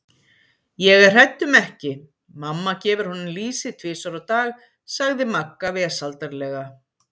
Ég er hrædd um ekki, mamma gefur honum lýsi tvisvar á dag sagði Magga vesældarlega.